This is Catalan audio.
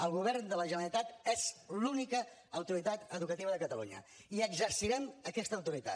el govern de la generalitat és l’única autoritat educativa de catalunya i exercirem aquesta autoritat